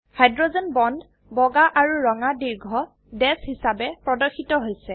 hydrogen bond বগা আৰু ৰঙা দীৰ্ঘ ড্যাশ হিসাবে প্ৰদৰ্শিত হৈছে